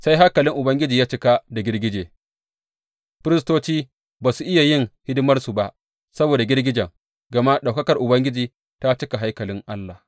Sai haikalin Ubangiji ya cika da girgije, Firistoci ba su iya yin hidimarsu ba saboda girgijen, gama ɗaukakar Ubangiji ta cika haikalin Allah.